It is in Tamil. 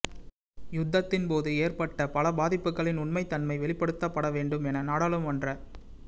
யுத்தத்தின் போது ஏற்பட்ட பல பாதிப்புக்களின் உண்மைத்தன்மை வெளிப்படுத்தப்பட வேண்டும் என நாடாளுமன்ற உறு